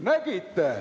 Nägite!